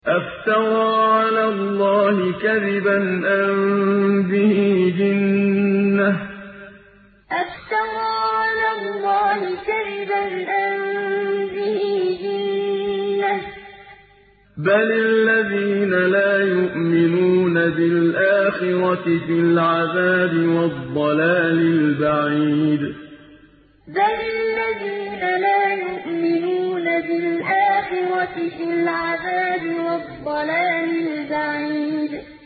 أَفْتَرَىٰ عَلَى اللَّهِ كَذِبًا أَم بِهِ جِنَّةٌ ۗ بَلِ الَّذِينَ لَا يُؤْمِنُونَ بِالْآخِرَةِ فِي الْعَذَابِ وَالضَّلَالِ الْبَعِيدِ أَفْتَرَىٰ عَلَى اللَّهِ كَذِبًا أَم بِهِ جِنَّةٌ ۗ بَلِ الَّذِينَ لَا يُؤْمِنُونَ بِالْآخِرَةِ فِي الْعَذَابِ وَالضَّلَالِ الْبَعِيدِ